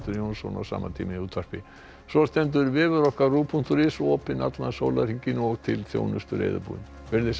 Jónsson á sama tíma í útvarpi svo stendur vefur okkar punktur is opinn allan sólarhringinn og til þjónustu reiðubúinn verið þið sæl